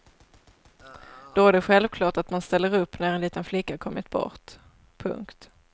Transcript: Då är det självklart att man ställer upp när en liten flicka kommit bort. punkt